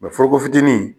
foroko fitinin